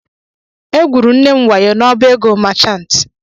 Egwuru nne m wayo n'ọbá ego machantị.